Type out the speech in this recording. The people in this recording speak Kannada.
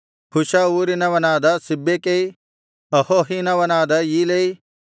ಹುಷ ಊರಿನವನಾದ ಸಿಬ್ಬೆಕೈ ಅಹೋಹಿನವನಾದ ಈಲೈ